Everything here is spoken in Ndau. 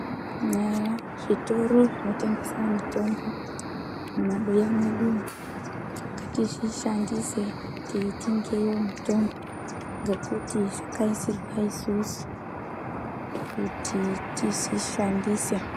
Nyaya yezvitoro zvinotengesa mitombo mumabuya mwedumwo, ngatizvishandise teitengeyo mitombo ngekuti zvakaisirwa isusu kuti tizvishandise.